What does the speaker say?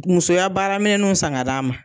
Musoya baara minɛnnuw san ga d'a ma.